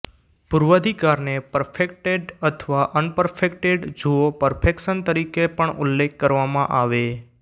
પૂર્વાધિકારને perfected અથવા unperfected જુઓ perfection તરીકે પણ ઉલ્લેખ કરવામાં આવે